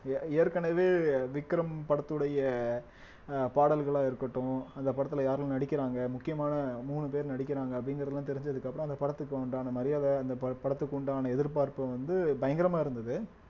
ஏற்~ ஏற்கனவே விக்ரம் படத்துடைய அஹ் பாடல்களா இருக்கட்டும் அந்த படத்திலே யாரெல்லாம் நடிக்கிறாங்க முக்கியமான மூணு பேர் நடிக்கிறாங்க அப்படிங்கிறதுலாம் தெரிஞ்சதுக்கு அப்பறம் அந்த படத்துக்கு உண்டான மரியாதை அந்த ப~ படத்துக்கு உண்டான எதிர்பார்ப்பு வந்து பயங்கரமா இருந்தது